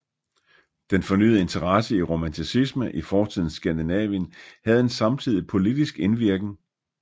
Den fornyede interesse i romanticisme i fortidens Skandinavien havde en samtidig politisk indvirken